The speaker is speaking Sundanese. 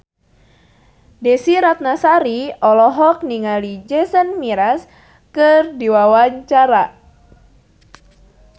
Desy Ratnasari olohok ningali Jason Mraz keur diwawancara